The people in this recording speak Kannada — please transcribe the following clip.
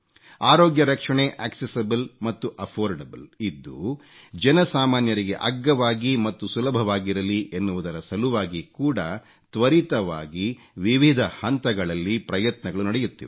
ಅರೋಗ್ಯ ರಕ್ಷಣೆ ಆಕ್ಸೆಸಿಬಲ್ ಮತ್ತು ಅಫೋರ್ಡಬಲ್ ಇದ್ದು ಜನ ಸಾಮಾನ್ಯರಿಗೆ ಅಗ್ಗವಾಗಿ ಮತ್ತು ಸುಲಭವಾಗಿರಲಿ ಎನ್ನುವುದರ ಸಲುವಾಗಿ ಕೂಡ ತ್ವರಿತವಾಗಿ ವಿವಿಧ ಹಂತಗಳಲ್ಲಿ ಪ್ರಯತ್ನಗಳು ನಡೆಯುತ್ತಿವೆ